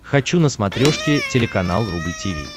хочу на смотрешке телеканал рубль ти ви